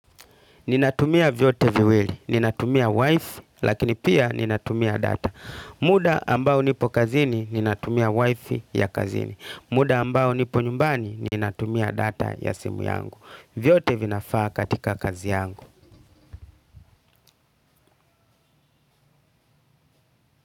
Ninatumia vyote viwili, ninatumia wife, lakini pia ninatumia data. Muda ambao nipo kazini, ninatumia wifi ya kazini. Muda ambao nipo nyumbani, ninatumia data ya simu yangu. Vyote vinafaa katika kazi yangu.